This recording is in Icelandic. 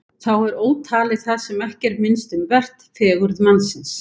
Þá er ótalið það sem ekki er minnst um vert: fegurð mannsins.